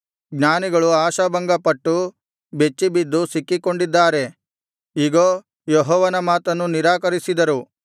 ಜ್ಞಾನಿಗಳು ಆಶಾಭಂಗಪಟ್ಟು ಬೆಚ್ಚಿಬಿದ್ದು ಸಿಕ್ಕಿಕೊಂಡಿದ್ದಾರೆ ಇಗೋ ಯೆಹೋವನ ಮಾತನ್ನು ನಿರಾಕರಿಸಿದರು